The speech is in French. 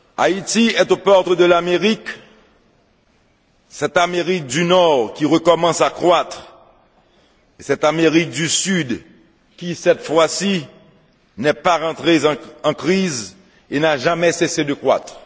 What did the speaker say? Haïti est aux portes de l'Amérique cette Amérique du Nord qui recommence à croître et cette Amérique du Sud qui, cette fois ci, n'est pas rentrée en crise et n'a jamais cessé de croître.